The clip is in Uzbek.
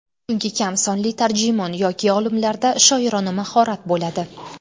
Chunki kam sonli tarjimon yoki olimlarda shoirona mahorat bo‘ladi.